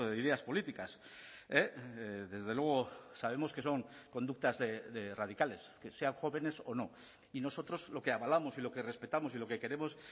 ideas políticas desde luego sabemos que son conductas de radicales que sean jóvenes o no y nosotros lo que avalamos y lo que respetamos y lo que queremos